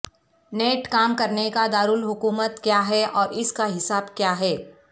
net کام کرنے کا دارالحکومت کیا ہے اور اس کا حساب کیا ہے